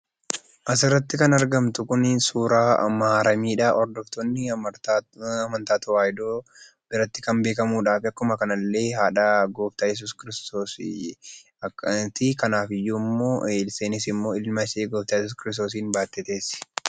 Asirratti kan argamtu kun suuraa Maaramiidha. Hordoftoonni amantaa tawaahidoo biratti kan beekamudha. Akkasumas illee haadha gooftaa Yesuus Kiristoos ti. Kanaafiyyuummoo isheenis ilma ishee gooftaa yesus Kiristoosiin baattee teessi.